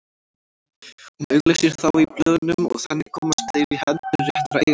Hún auglýsir þá í blöðunum og þannig komast þeir í hendur réttra eigenda.